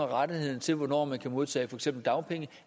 rettigheden til hvornår man kan modtage for eksempel dagpenge